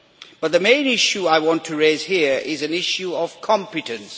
But the main issue I want to raise here is an issue of competence.